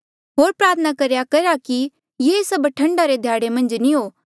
होर प्रार्थना करेया करा कि ये सब ठंडा रे ध्याड़े नी हो